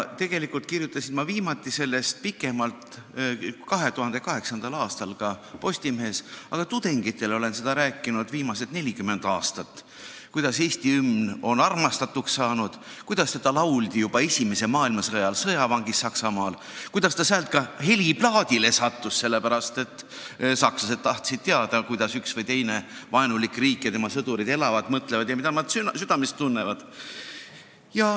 Tegelikult kirjutasin ma viimati sellest pikemalt 2008. aastal Postimehes, aga tudengitele olen ma viimased 40 aastat rääkinud, kuidas Eesti hümn on armastatuks saanud, kuidas seda lauldi juba esimese maailmasõja ajal sõjavangis Saksamaal ja kuidas ta sealt ka heliplaadile sattus, kui sakslased tahtsid teada, kuidas üks või teine vaenulik riik elab ja kuidas tema sõdurid elavad, mida nad mõtlevad ja südames tunnevad.